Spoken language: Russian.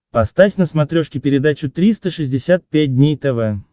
поставь на смотрешке передачу триста шестьдесят пять дней тв